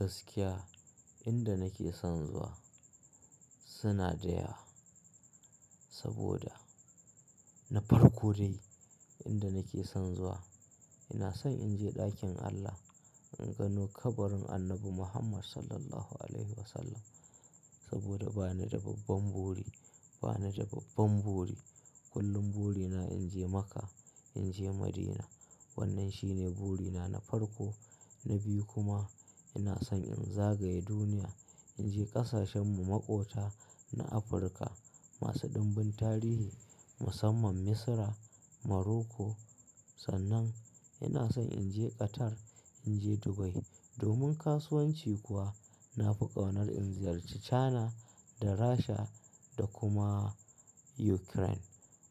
Gaskiya inda nake son zuwa suna da yawa, saboda na farko dai inda nake son zuwa. Ina son in je ɗakin Allah, in gano kabarin Annabi Muhammad Sallallahu Alaihi Wasallam Saboda bani da babban buri, bani da babban buri. Kullun buri na in je Makka, in je Madina. Wannan shine buri na na farko. Na biyu kuma ina son in zagaye duniya, in je ƙasashen maƙota na Afirka masu ɗimbin tarihi musamman Misra, Morocco. Sannan. Ina son in je Qatar, in je Dubai. Domin kasuwanci kuwa na fi ƙaunar in ziyarci China da Rasha da kuma Ukraine.